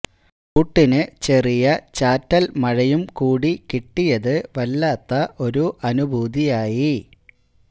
കൂട്ടിനു ചെറിയ ചാറ്റല് മഴയും കൂടി കിട്ടിയത് വല്ലാത്ത ഒരു അനുഭൂതിയായി